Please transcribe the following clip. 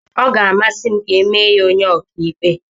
Ọ ga-amasị m ka emee ya onye ọkàikpe.